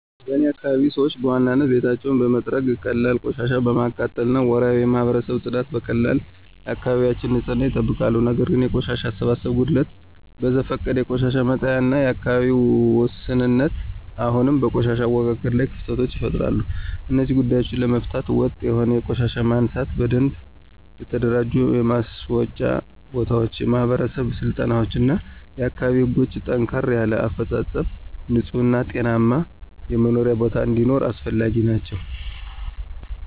በእኔ አካባቢ ሰዎች በዋናነት ቤታቸውን በመጥረግ፣ ቀላል ቆሻሻ በማቃጠል እና ወርሃዊ የማህበረሰብ ጽዳትን በመቀላቀል የአካባቢያቸውን ንፅህና ይጠብቃሉ። ነገር ግን የቆሻሻ አሰባሰብ ጉድለት፣ በዘፈቀደ የቆሻሻ መጣያ እና የግንዛቤ ውስንነት አሁንም በቆሻሻ አወጋገድ ላይ ክፍተቶችን ይፈጥራሉ። እነዚህን ጉዳዮች ለመፍታት ወጥ የሆነ የቆሻሻ ማንሳት፣ በደንብ የተደራጁ የማስወጫ ቦታዎች፣ የማህበረሰብ ስልጠናዎች እና የአካባቢ ህጎችን ጠንከር ያለ አፈፃፀም ንፁህ እና ጤናማ የመኖሪያ ቦታ እንዲኖር አስፈላጊ ናቸው።